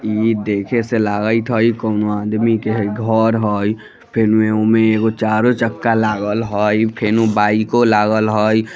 इ देखे से लागइत हइ कोनो आदमी के घर हइ फेनो एमे चारो चक्का लागल हैं फेनो बाईको लागल हइ।